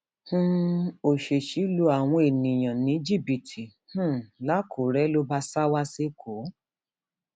um òṣèṣì lu àwọn lu àwọn èèyàn ní jìbìtì um lakunure ló bá sá wa sẹkọọ